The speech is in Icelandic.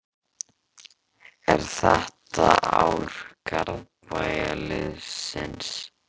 Er þetta ár Garðabæjarliðsins?